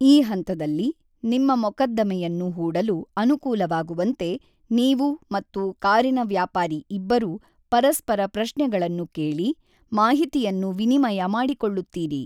ಈ ಹಂತದಲ್ಲಿ, ನಿಮ್ಮ ಮೊಕದ್ದಮೆಯನ್ನು ಹೂಡಲು ಅನುಕೂಲವಾಗುವಂತೆ ನೀವು ಮತ್ತು ಕಾರಿನ ವ್ಯಾಪಾರಿ ಇಬ್ಬರೂ ಪರಸ್ಪರ ಪ್ರಶ್ನೆಗಳನ್ನು ಕೇಳಿ, ಮಾಹಿತಿಯನ್ನು ವಿನಿಮಯ ಮಾಡಿಕೊಳ್ಳುತ್ತೀರಿ.